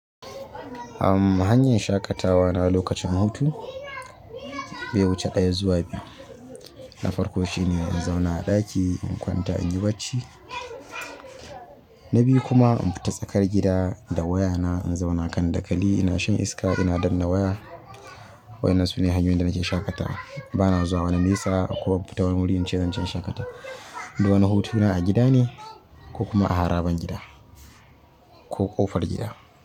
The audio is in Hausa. Amm, hanyar shaƙatawa na lokacin hutu bai wuce ɗaya zuwa biyu, na farko shine in zauna a ɗaki in kwanta inyi bacci na biyu kuma in fita tsakar gida da waya na, in zauna kan dakali ina shan iska ina danna waya. Waƴannan sune hanyoyin da nike shaƙatawa bana zuwa wani nesa ko fita wani wurin cewa zan je in shaƙata. Du wani hutana a gida ne ko kuma a haraban gida ko ƙofar gida.